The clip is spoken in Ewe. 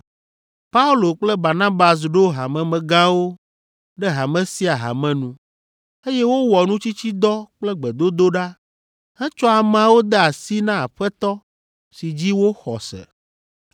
Paulo kple Barnabas ɖo hamemegãwo ɖe hame sia hame nu, eye wowɔ nutsitsidɔ kple gbedodoɖa hetsɔ ameawo de asi na Aƒetɔ si dzi woxɔ se.